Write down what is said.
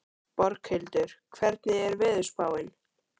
Borghildur, hvernig er veðurspáin?